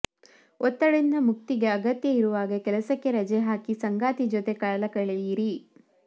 ಒತ್ತಡದಿಂದ ಮುಕ್ತಿಗೆ ಅಗತ್ಯ ಇರುವಾಗ ಕೆಲಸಕ್ಕೆ ರಜೆ ಹಾಕಿ ಸಂಗಾತಿ ಜೊತೆ ಕಾಲಕಳೆಯಿರಿ